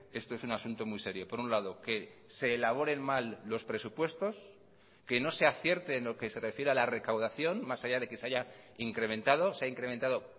esto es un asunto muy serio por un lado que se elaboren mal los presupuestos que no se acierte en lo que se refiere a la recaudación más allá de que se haya incrementado se ha incrementado